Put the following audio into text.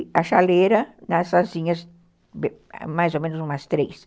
E a chaleira, nessas asinhas, mais ou menos umas três.